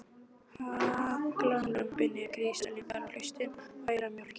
Hagalömbin eru grislingar á haustin og ærnar mjólka ekki.